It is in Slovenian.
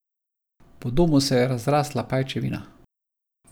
Po domu se je razrasla pajčevina.